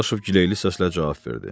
Dadaşov giləli səslə cavab verdi.